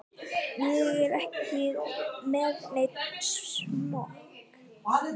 Ég er ekki með neinn smokk.